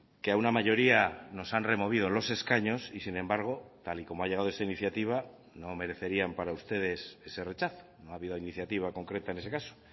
que a una mayoría nos han removido los escaños y sin embargo tal y como ha llegado esa iniciativa no merecerían para ustedes ese rechazo no ha habido iniciativa concreta en ese caso